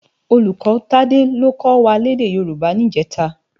Ólúkò Tade ló kò wá lèdè Yoruba nijètå